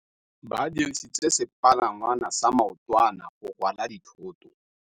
Ba dirisitse sepalangwasa maotwana go rwala dithôtô.